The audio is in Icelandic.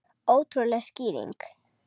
Ótrúleg skýring